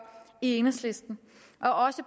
i enhedslisten også